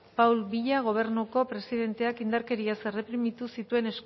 paul biya gobernuko presidenteak indarkeriaz erreprimitu zituen